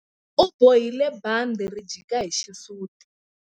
U bohile bandhi ri jika hi xisuti.